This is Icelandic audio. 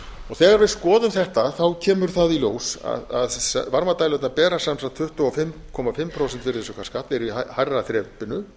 þegar við skoðum þetta kemur það í ljós að varmadælurnar bera sem sagt tuttugu og fimm komma fimm prósenta virðisaukaskatt eru í hærra þrepinu